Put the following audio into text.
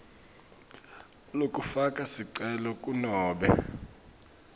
lekufaka sicelo kunobe